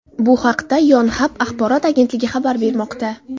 Bu haqda Yonhap axborot agentligi xabar bermoqda .